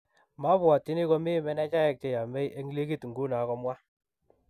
"Mabwatyini komi menejaek che yamei eng ligit nguno,"komwa.